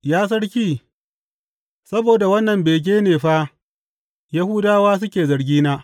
Ya Sarki, saboda wannan bege ne fa Yahudawa suke zargena.